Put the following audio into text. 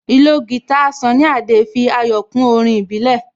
Ìlò guitar Sunny Adé fi ayọ̀ kún orin ìbílẹ̀